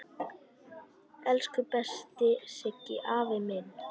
Elsku besti Siggi afi minn.